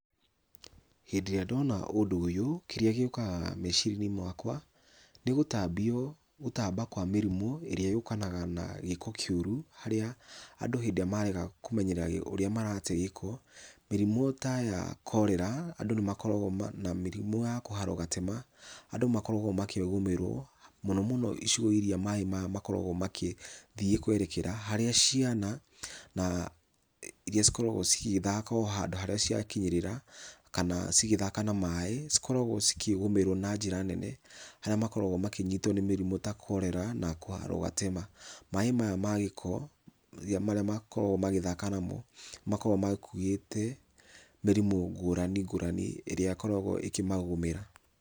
Hĩndĩ ĩrĩa ndona ũndũ ũyũ, kĩrĩa gĩũkaga meciria-inĩ makwa, nĩ gũtambio, gũtamba kwa mĩrimũ ĩrĩa yũkanaga na gĩko kĩũru, harĩa andũ hĩndĩ ĩrĩa marega kũmenyerera ũrĩa marate gĩko, mĩrimũ ta ya cholera andũ nĩ makoragwo na mĩrimũ ya kũharwo gatema, andũ makoragwo makĩgũmĩrwo, mũno mũno icigo iria maaĩ maya makoragwo magĩthiĩ kwerekera harĩa ciana, iria cikoragwo cigĩthaka o handũ harĩa cia kinyĩrĩra, kana cigĩthaka na maaĩ, cikoragwo cikĩgũmĩrwo na njĩra nene, harĩa makoragwo makĩnyitwo nĩ mĩrimũ ta cholera na kũharwo gatema. Maaĩ maya ma gĩko, marĩa makoragwo magĩthaka namo, nĩ makoragwo makuĩte mĩrimũ ngũrani ngũrani ĩrĩa ĩkoragwo ĩkĩmagũmĩra.